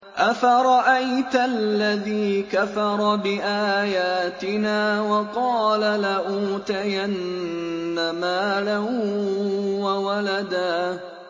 أَفَرَأَيْتَ الَّذِي كَفَرَ بِآيَاتِنَا وَقَالَ لَأُوتَيَنَّ مَالًا وَوَلَدًا